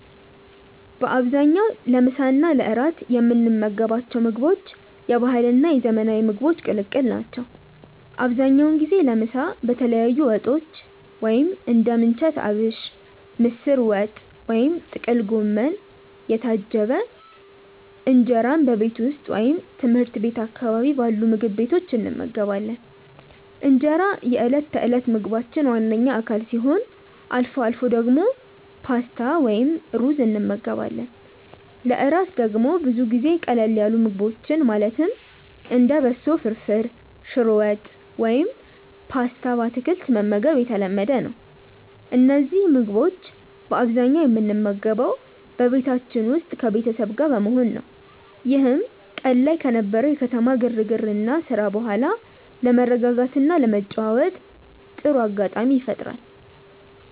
በአብዛኛው ለምሳ እና ለእራት የምንመገባቸው ምግቦች የባህልና የዘመናዊ ምግቦች ቅልቅል ናቸው። አብዛኛውን ጊዜ ለምሳ በተለያዩ ወጦች (እንደ ምንቸት አቢሽ፣ ምስር ወጥ ወይም ጥቅል ጎመን) የታጀበ እንጀራን በቤት ውስጥ ወይም ትምህርት ቤት አካባቢ ባሉ ምግብ ቤቶች እንመገባለን። እንጀራ የዕለት ተዕለት ምግባችን ዋነኛ አካል ሲሆን፣ አልፎ አልፎ ደግሞ ፓስታ ወይም ሩዝ እንመገባለን። ለእራት ደግሞ ብዙ ጊዜ ቀለል ያሉ ምግቦችን ማለትም እንደ በሶ ፍርፍር፣ ሽሮ ወጥ ወይም ፓስታ በአትክልት መመገብ የተለመደ ነው። እነዚህን ምግቦች በአብዛኛው የምንመገበው በቤታችን ውስጥ ከቤተሰብ ጋር በመሆን ነው፤ ይህም ቀን ላይ ከነበረው የከተማ ግርግርና ስራ በኋላ ለመረጋጋትና ለመጨዋወት ጥሩ አጋጣሚ ይፈጥራል።